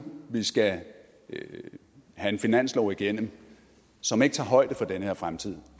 vi skal have en finanslov igennem som ikke tager højde for den her fremtid